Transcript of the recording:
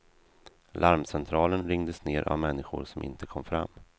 Larmcentralen ringdes ner av människor som inte kom fram.